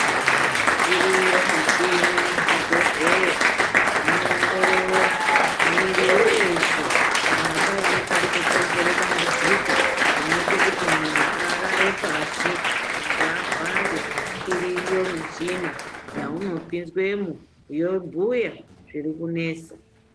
Iriyo michini muzvibhedhlera inoongorora mwiri weshe kana paine parikukonzera dambudziko rinoita kuti mundu arare pashi mundu arware iriyo michina yaunopinzwemo yobhuya zviri kunesa.